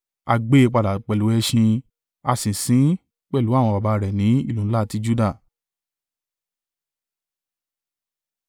A gbé e padà pẹ̀lú ẹṣin. A sì sin ín pẹ̀lú àwọn baba rẹ̀ ní ìlú ńlá ti Juda.